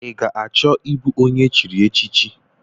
Ị ga-achọ ịbụ onye echiri echichi?